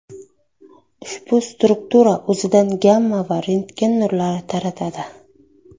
Ushbu struktura o‘zidan gamma va rentgen nurlari taratadi.